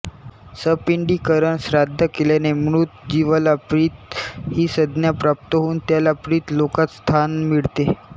सपिंडीकरण श्राद्ध केल्याने मृत जिवाला पितृ ही संज्ञा प्राप्त होऊन त्याला पितृलोकात स्थान मिळते